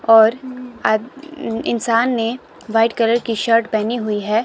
और आ इंसान ने व्हाइट कलर की शर्ट पहनी हुई है।